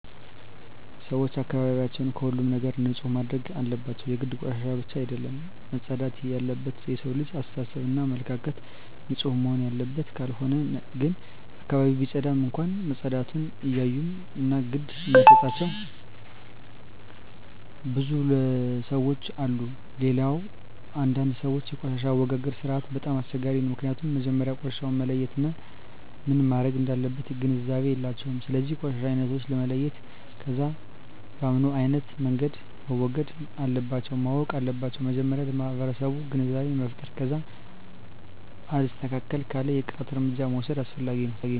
ሰወች አካባቢያቸውን ከሁሉም ነገር ንፁህ ማድረግ አለባቸው የግድ ቆሻሻ ብቻ አደለም መፅዳት የለበት የሠው ልጅ አሰተሳሰብ እና አመለካከትም ንፁህ መሆንና አለበት ካልሆነ ግን አካባቢውን ቢፀዳም እንኳ መፀዳቱን እማያዮ እና ግድ እማይጣቸው ብዙ ለሠዎች አሉ። ሌላው አንዳንድ ሰወች የቆሻሻ አወጋገድ ስርዓቱ በጣም አስቸጋሪ ነው ምክኒያቱም መጀመሪያ ቆሻሻውን መለየት እና ምን መረግ እንዳለበት ግንዛቤ የላቸውም ስለዚ የቆሻሻ አይነቶችን መለየት ከዛ በምኖ አይነት መንገድ መወገድ እንለባቸው ማወቅ አለባቸው መጀመሪያ ለማህበረሰቡ ግንዛቤ መፍጠር ከዛ አልስተካክል ካለ የቅጣት እርምጃ መውስድ አስፈላጊ ነው